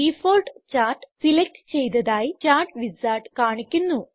default chart select ചെയ്തതായി chart wizard കാണിക്കുന്നു